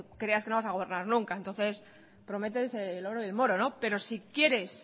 que creas que no vas a gobernar nunca entonces prometes el oro y el moro pero si quieres